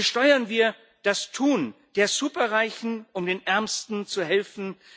Besteuern wir das Tun der Superreichen, um den Ärmsten zu helfen!